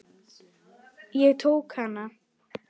Ég tók hana.